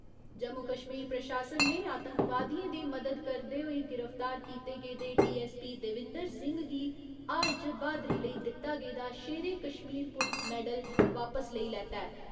जम्मू कश्मीर प्रशासन ने आतंकवादियें दी मदद करदे होई गिरफ्तार कीते गेदे डीऐस्सपी देविंदर सिंह गी हाल च ब्हादरी लेई दित्ता गेदा शेरे कश्मीर पुलस मैडल वापस लेई लैता ऐ।